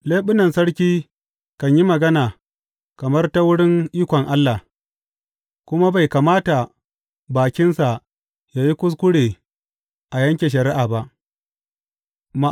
Leɓunan sarki kan yi magana kamar ta wurin ikon Allah, kuma bai kamata bakinsa ya yi kuskure a yanke shari’a ba.